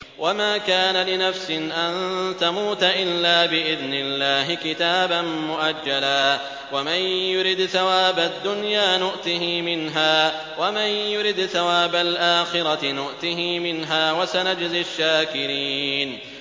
وَمَا كَانَ لِنَفْسٍ أَن تَمُوتَ إِلَّا بِإِذْنِ اللَّهِ كِتَابًا مُّؤَجَّلًا ۗ وَمَن يُرِدْ ثَوَابَ الدُّنْيَا نُؤْتِهِ مِنْهَا وَمَن يُرِدْ ثَوَابَ الْآخِرَةِ نُؤْتِهِ مِنْهَا ۚ وَسَنَجْزِي الشَّاكِرِينَ